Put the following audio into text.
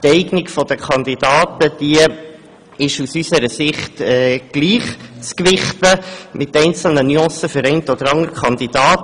Die Eignung der Kandidaten ist aus unserer Sicht gleich zu gewichten, mit einzelnen Nuancen zugunsten des einen oder des anderen Kandidaten.